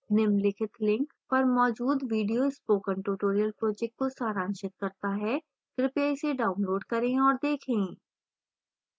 निम्नलिखित link पर मौजूद video spoken tutorial project को सारांशित करता है कृपया इसे डाउनलोड करें और देखें